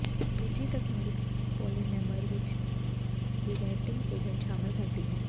ਦੂਜੀ ਤਕਨੀਕ ਪੌਲੀਮੈਮਰ ਵਿਚ ਰੀਵੈੱਟਿੰਗ ਏਜੰਟ ਸ਼ਾਮਲ ਕਰਦੀ ਹੈ